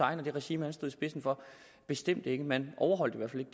og det regime han stod i spidsen for bestemt ikke man overholdt